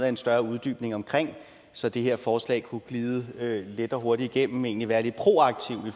en større uddybning omkring det så det her forslag kunne glide let og hurtigt igennem altså egentlig være lidt proaktivt i